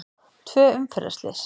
Tvö umferðarslys